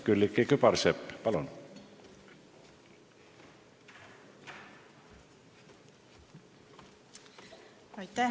Külliki Kübarsepp, palun!